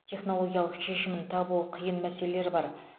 технологиялық шешімін табуы қиын мәселелер бар